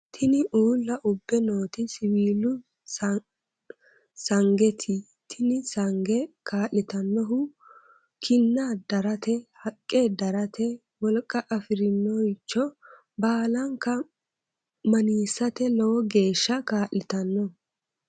Tini uulla ubbe nooti siwiilu sangeeti tini sange kaa'litannohu kinna darate haqqe darate wolqa afirinoricho baalanka maniisate lowo geeshsha kaa'litanno.